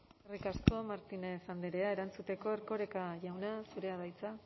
eskerrik asko martínez andrea erantzuteko erkoreka jauna zurea da hitza